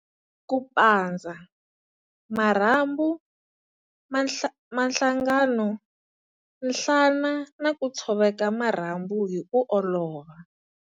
Ku pandza- Marhambu, mahlangano, nhlana na ku tshoveka marhambu hi ku olova.